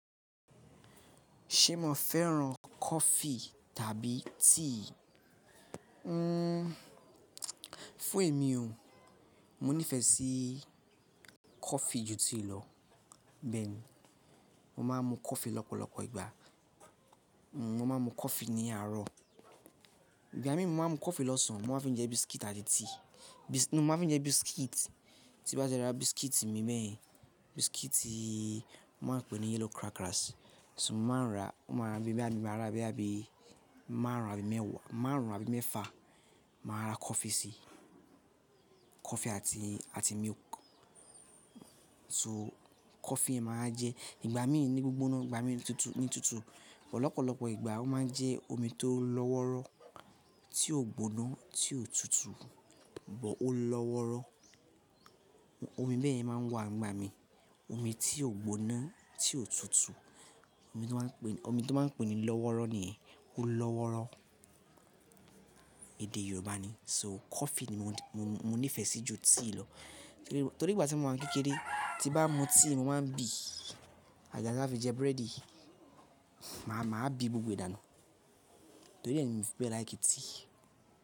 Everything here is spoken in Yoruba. Ṣé mo fẹ́ràn kọfí tàbí tíì? Hmm, fún èmi o, mo nífẹ̀ẹ́ sí kọfí ju tíì lọ. Bẹ́ẹ̀ni, mo máa ń mu kọfí lọ́pọ̀lọpọ̀ ìgbà. Mo máa ń mu ní àárọ̀. Ìgbà mí mi máa ń mu kọfí lọ́sàn-án, mo máa fi jẹ bísíkítì àti tíì. Mo máa fi jẹ bísíkítì. Tí bá ti rà biscuit mi mẹ́ẹ̀ẹ́, biscuit tí wọ́n máa n pè ní yellow crackers. So mo máa ń rà, mo máa ń ra abẹ́ abẹ́, àbí máa ń rà abẹ́ mẹ́wàá, máa ń rà bi mẹ́fà, màá ra coffee sí i. Coffee àti, àti milk. So coffee máa jẹ ìgbà mí ní gbogbo náà, ìgbà mí ní tútù, ní tútù, ọ̀pọ̀lọpọ̀ ìgbà ó máa ń jẹ́ omi tó lọ́wọ́rọ́, tí ò gbóná, tí ò tútù, bọ̀ ó lọ́wọ́rọ́. Omi bẹ́ẹ̀ yẹn máa ń wà nígbà mí. Omi tí ò gbóná, tí ò tútù. Omi tí wọ́n máa pè, omi tí wọ́n máa pè ní lọ́wọ́rọ́ ni, ó lọ́wọ́rọ́. Èdè Yorùbá ni. Nítorí náà, kọfí ni mo nífẹ̀ẹ́ sí ju tíì lọ. Torí ìgbà tí mo wà ní kékeré, tí bá mu tíì mo máa ń bì. Àgàgà tí n bá fi jẹ búrẹ́dì, màá, màá bì gbogbo dánu. Torí ẹni mi ò fẹ́ like tíì.